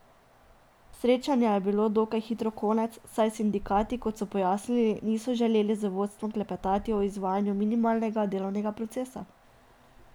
Srečanja je bilo dokaj hitro konec, saj sindikati, kot so pojasnili, niso želeli z vodstvom klepetati o izvajanju minimalnega delovnega procesa.